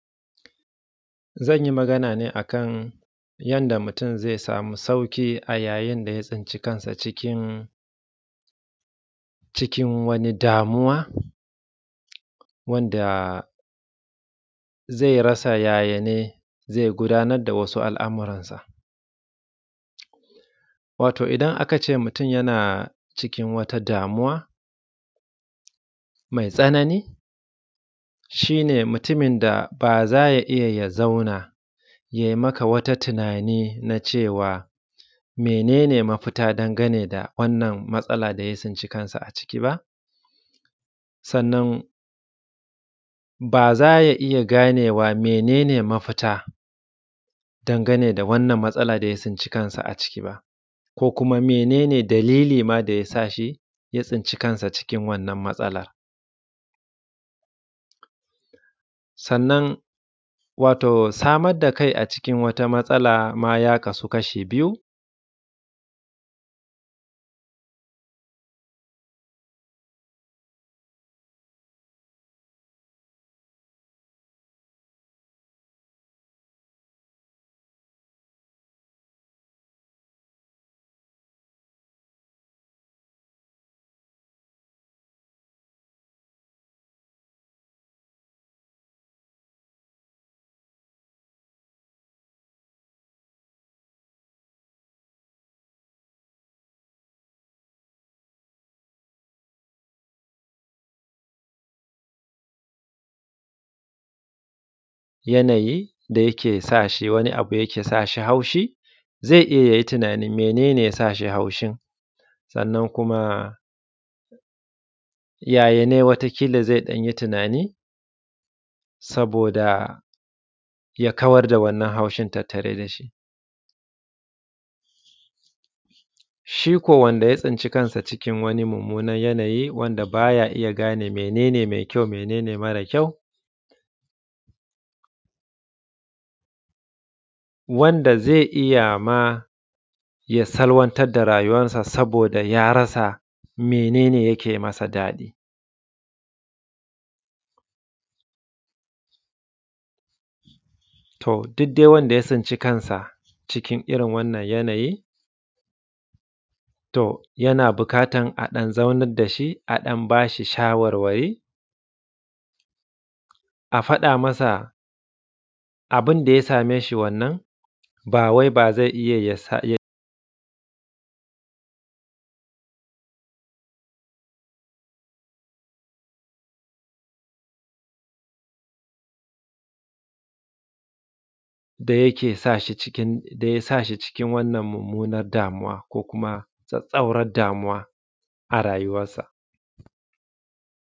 Zan yi magana ne akan yadda mutun zai samu sauƙi a yayin da ya tsinci kansa cikin wani damuwa wanda zai rasa yaya ne zai gudanar da wasu al’amuransa, wato idan aka ce mutun yana cikin wata damuwa mai tsanani shi ne mutumin da ba za ya iya ya zauna ya yi maka wata tunani na cewa mene ne mafita dangane da wannan matsala da ya tsinci kansa a ciki ba sannan ba zaya iya ganewa menene mafita dangane da wannan matsala daya tsince kanka a ciki ba ko kuma menene dalili ma da ya sashi ya tsinci kansa cikin wannan matsalar. Sannan wato samar da kai a cikin wata matsala ya kasu kashi biyu, yanayi da ya sa shi haushi zai iya yayi tunani mene ne yake sa shi haushin, sannan kuma yaya ne wata kila zai dan yi tunani saboda ya kawar da wannan tunani da yake tattare da shi shiko wanda ya tsinci kansa cikin wani mummunan yanayi wanda ba ya iya gane mene ne mai kyau mene ne mara kyau, wanda zai iya ma ya salwantar da rayuwansa saboda ya rasa mene ne yake masa daɗi. To, duk dai wanda ya tsinci kansa cikin wannan yanayin to yana buƙatan a dan zaunar da shi a ba shi shawarwari a fada masa abu da ya sa me shi wannan bawai bazai iya yasa daya sashi cikin wannan mummunan damuwa.